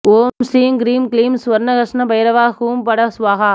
ஓம் ஸ்ரீம் ஹ்ரீம் க்லீம் ஸ்வர்ணாகர்ஷன பைரவாய ஹூம் பட ஸ்வாஹா